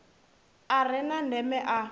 a re na ndeme a